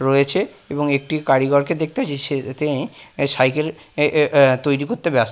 রয়েছে এবং একটি কারিগর কে দেখতে পাচ্ছি সে তিনি সাইকেল এ এ তৈরি করতে ব্যস্ত।